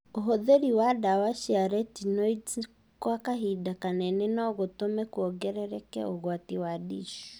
Ũhũthĩri wa dawa cia retinoids gwa kahinda kanene no gũtũme kuongereke ũgwati wa DISH